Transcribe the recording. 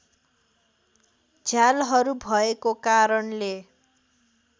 झ्यालहरू भएको कारणले